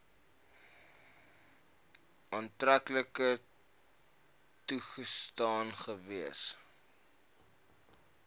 aftrekking toegestaan gewees